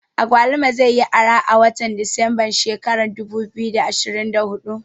Agwaluma zai yi arha a watan desemba shekara ta dubu biyu da ashirin da hudu